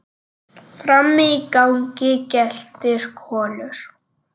Frammi í gangi geltir Kolur.